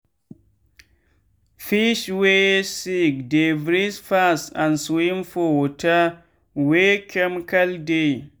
fish wey sick dey breath fast and swin for water wey chemical dey